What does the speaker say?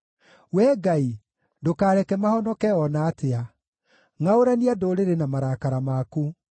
Wee Ngai, ndũkareke mahonoke o na atĩa; ngʼaũrania ndũrĩrĩ na marakara maku.